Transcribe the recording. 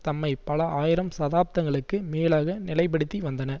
தம்மை பல ஆயிரம் தசாப்தங்களுக்கு மேலாக நிலை படுத்தி வந்தனர்